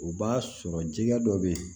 O b'a sɔrɔ jɛgɛ dɔ bɛ ye